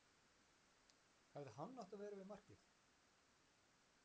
Hefði hann átt að vera við markið?